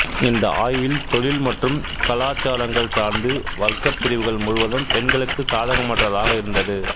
இந்த ஆய்வில் தொழில் மற்றும் கலாச்சாரங்கள் சார்ந்து வர்க்கப் பிரிவுகள் முழுவதும் பெண்களுக்கு சாதகமற்றதாக இருந்தது